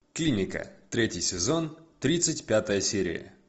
клиника третий сезон тридцать пятая серия